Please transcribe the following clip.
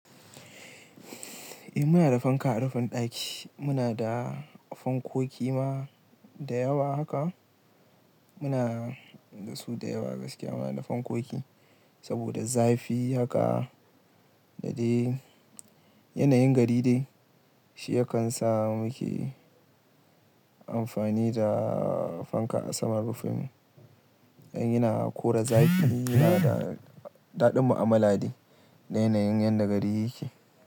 Eh muna da fanka a rufin ɗaki. Muna da fankoki ma da yawa haka. Muna da su da yawa gaskiya. Muna da fankoki saboda zafi haka da dai yanayin gari dai, shi yakan sa muke amfani da fanka a saman rufin. In yana kora zafi yana da daɗin mu'amala dai da yanayin yan da gari yake.